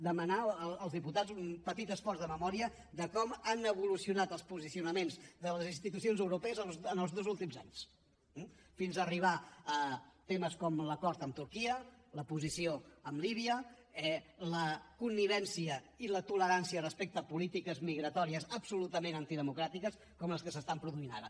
demanar als diputats un petit esforç de memòria de com han evolucionat els posicionaments de les institucions europees en els dos últims anys fins arribar a temes com l’acord amb turquia la posició amb líbia la connivència i la tolerància respecte a polítiques migratòries absolutament antidemocràtiques com les que s’estan produint ara